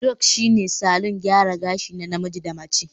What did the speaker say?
aDreadlocks shine salon gyara gashi na namiji da mace